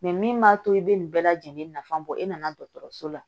min b'a to i bɛ nin bɛɛ lajɛlen nafa bɔ e nana la